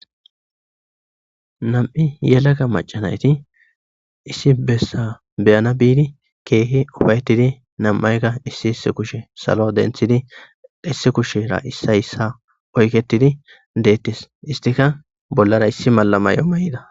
Na'amu yelega macca nayti issi bessa beyana biddi keehi uffayitidi na'amayka issi kushi salo denttiddi issi kushira issay issa oykketidi dettes isttikka bollara issi mala mayo mayyida.